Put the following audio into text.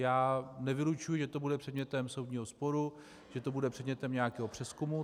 Já nevylučuji, že to bude předmětem soudního sporu, že to bude předmětem nějakého přezkumu.